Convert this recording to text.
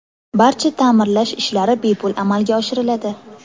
Barcha ta’mirlash ishlari bepul amalga oshiriladi.